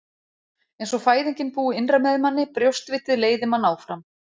Eins og fæðingin búi innra með manni, brjóstvitið leiði mann áfram.